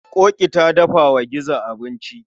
Ƙoƙi ta dafa wa gizo abinci.